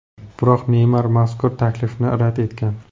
Biroq Neymar mazkur taklifni rad etgan.